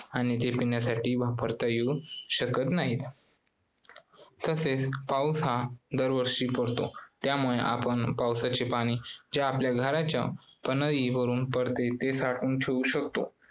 आणि ते पिण्यासाठी वापरता येऊ शकत नाही. तसेच पाऊस हा दरवर्षी पडतो त्यामुळे आपण पावसाचे पाणी जे आपल्या घराच्या पन्हाळी वरून पडते ते साठवून ठेवू शकतो